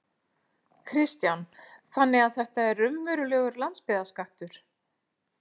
Kristján: Þannig að þetta er raunverulegur landsbyggðarskattur?